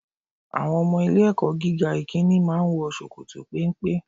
Àwọn ọmọ ilé ẹ̀kọ́ gíga ìkíni máa ń wọ ṣòkòtò péńpé.